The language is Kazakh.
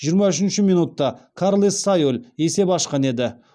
жиырма үшінші минутта карлес сайоль есеп ашқан еді